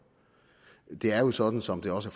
det er jo sådan som det også